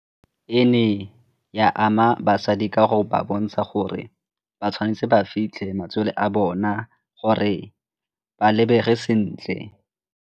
E ne ya ama basadi ka go ba bontsha gore ba tshwanetse ba fitlhe matswele a bona gore ba lebege sentle.